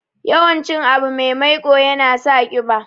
Yawan cin abu me maiƙo yana sa ƙiba.